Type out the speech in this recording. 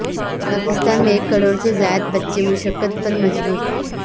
پاکستان میں ایک کروڑ سے زائد بچے مشقت پر مجبور